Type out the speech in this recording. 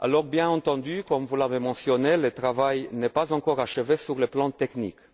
Bien entendu, comme vous l'avez relevé, le travail n'est pas encore achevé sur le plan technique.